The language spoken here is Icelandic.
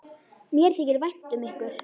Mér þykir vænt um ykkur.